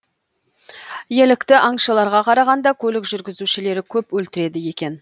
елікті аңшыларға қарағанда көлік жүргізушілері көп өлтіреді екен